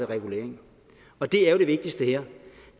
regulering og det er jo det vigtigste her